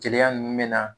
Jeliya nunnu bɛ na